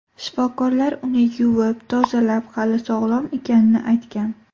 Shifokorlar uni yuvib, tozalab, hali sog‘lom ekanini aytgan.